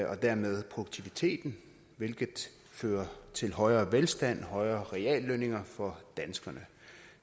og dermed produktiviteten hvilket fører til højere velstand og højere reallønninger for danskerne